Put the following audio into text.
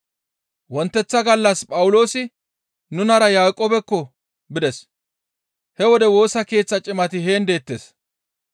Wonteththa gallas Phawuloosi nunara Yaaqoobekko bides; he wode Woosa Keeththa cimati heen deettes.